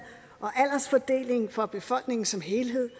og aldersfordeling for befolkningen som helhed